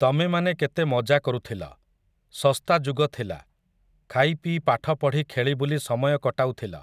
ତମେମାନେ କେତେ ମଜା କରୁଥିଲ, ଶସ୍ତାଯୁଗ ଥିଲା, ଖାଇପିଇ ପାଠପଢ଼ି ଖେଳିବୁଲି ସମୟ କଟାଉଥିଲ ।